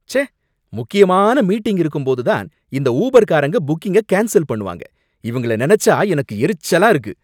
ச்சே! முக்கியமான மீட்டிங் இருக்கும்போது தான் இந்த ஊபர் காரங்க புக்கிங்க கேன்ஸல் பண்ணுவாங்க, இவங்கள நினைச்சா எனக்கு எரிச்சலா இருக்கு!